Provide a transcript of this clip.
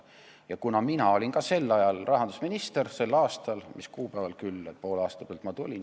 Mina olin sel aastal rahandusminister – poole aasta pealt tulin.